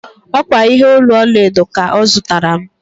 Ọ kwa ihe olu ọlaedo ka ọ zụtara m.